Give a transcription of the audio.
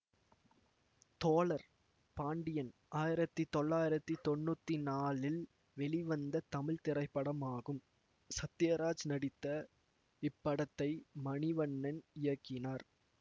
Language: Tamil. தோழர் பாண்டியன் ஆயிரத்தி தொள்ளாயிரத்தி தொன்னூத்தி நாலில் வெளிவந்த தமிழ் திரைப்படமாகும் சத்யராஜ் நடித்த இப்படத்தை மணிவண்ணன் இயக்கினார்